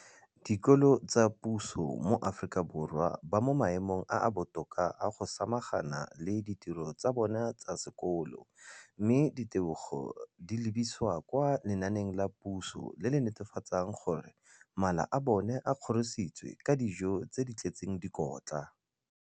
dikolo tsa puso mo Aforika Borwa ba mo maemong a a botoka a go ka samagana le ditiro tsa bona tsa sekolo, mme ditebogo di lebisiwa kwa lenaaneng la puso le le netefatsang gore mala a bona a kgorisitswe ka dijo tse di tletseng dikotla.